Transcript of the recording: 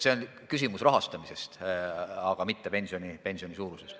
See on küsimus rahastamisest, aga mitte pensioni suurusest.